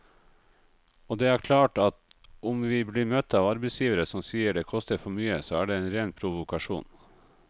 Og det er klart at om vi blir møtt av arbeidsgivere som sier det koster for mye, så er det en ren provokasjon.